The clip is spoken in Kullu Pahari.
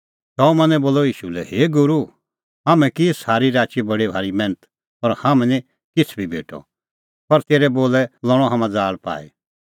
शमौनै बोलअ ईशू लै हे गूरू हाम्हैं की सारी राची बडी भारी मैन्थ पर हाम्हां निं किछ़ बी भेटअ पर तेरै बोलै लणअ हाम्हां ज़ाल़ पाई